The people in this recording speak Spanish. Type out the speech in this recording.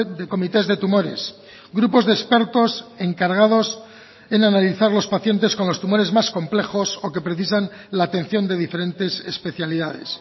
de comités de tumores grupos de expertos encargados en analizar los pacientes con los tumores más complejos o que precisan la atención de diferentes especialidades